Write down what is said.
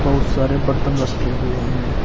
बहुत सारे बर्तन रखे हुए हैं।